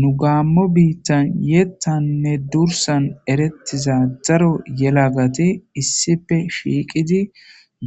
Nu gaammo biittan yeettanne dursan erettiza daro yelagati issipe shiiqidi